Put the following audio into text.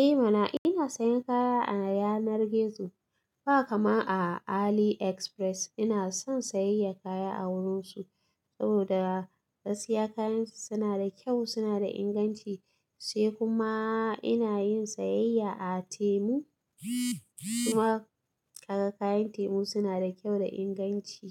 Eh mana ina sayan kaya a yanar gizo ba kama a Aliexpress ina son sayayya kaya a wurin su saboda gaskiya kayansu suna da kyau suna da inganci sai kuma ina yin sayayya a Temu. Kuma kaga kayan Temu suna da kyau da inganci